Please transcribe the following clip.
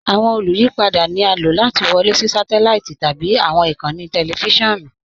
Awọn olùyìpada ni a ló láti wọlé sí sátẹláìtì tabi awọn ikànńí tẹlifisiọnu.